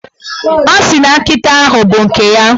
Ọ sị na nkịta ahụ bụ nke ya.